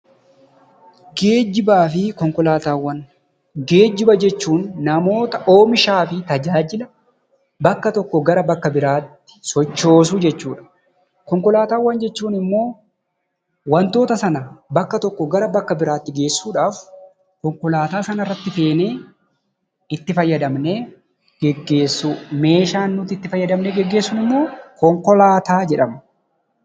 Geejjibaa fi Konkolaataawwan Geejjiba jechuun namoota, oomishaa fi tajaajila bakka tokkoo gara bakka biraatti sochoosuu jechuu dha. Konkolaataawwan jechuun immoo wantoota sana bakka tokkoo gara bakka biraatti geessuudhaaf konkolaataa sana irratti feenee itti fayyadamnee geggeessuu: meeshaan nuti itti fayyadamnee geggeessinu immoo konkolaataa jedhama.